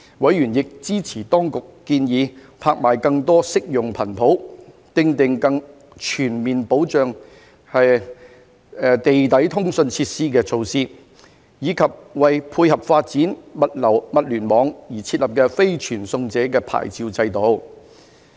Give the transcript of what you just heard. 委員亦支持當局建議拍賣更多適用的頻譜、訂定更全面保障地底通訊設施的措施，以及為配合發展物聯網而設立非傳送者牌照制度。